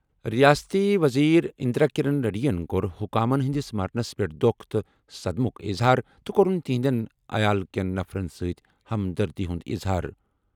رِیٲستی ؤزیٖر اِنٛدرا کِرن ریڈی ین کوٚر حُکامن ہِنٛدِس مرنَس پٮ۪ٹھ دۄکھ تہٕ صدمُک اِظہار تہٕ کوٚرُن تِہنٛدٮ۪ن عیال کٮ۪ن نفرَن سۭتۍ ہمدردی اظہار۔